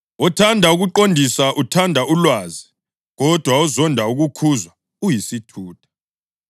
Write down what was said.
Othanda ukuqondiswa uthanda ulwazi, kodwa ozonda ukukhuzwa uyisithutha.